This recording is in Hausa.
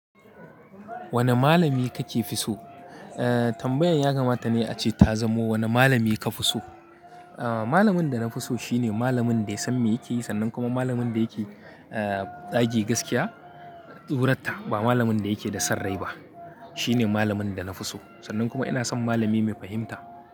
Wane malami kake fi so? Aaa tambayan ya kamata ne ace ta zamo wane malami ka fi so? Aaa malamin da na fi so shine malamin da ya san me yake yi sannan kuma malamin da yake eee zage gaskiya, tsurarta ba malamin da yake da son rai ba. Shine malamin da na fi so. Sannan kuma ina son malami mai fahimta.